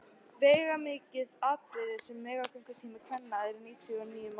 Veigamikið atriði er að meðgöngutími kvenna er níu mánuðir.